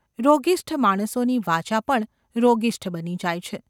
રોગિષ્ઠ માણસોની વાચા પણ રોગિષ્ઠ બની જાય છે.